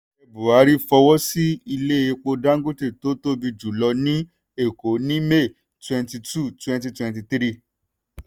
ààrẹ buhari fọwọ́ sí ilé epo dangote tó tóbi jù lọ ní èkó ní may twenty two twenty twenty three.